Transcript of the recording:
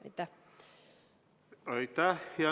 Aitäh!